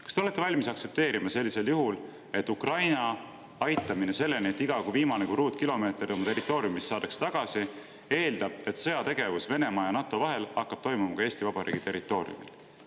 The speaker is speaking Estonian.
Kas te olete valmis aktsepteerima sellisel juhul, et Ukraina aitamine, kuni viimane kui ruutkilomeeter territooriumist saadakse tagasi, eeldab, et sõjategevus Venemaa ja NATO vahel hakkab toimuma ka Eesti Vabariigi territooriumil?